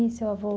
E seu avô?